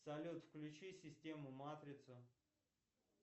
салют включи систему матрица